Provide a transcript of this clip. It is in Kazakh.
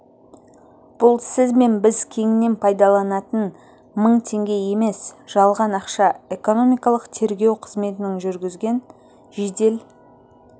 бұл сіз бен біз кеңінен пайдаланатын мың теңге емес жалған ақша экономикалық тергеу қызметінің жүргізген жедел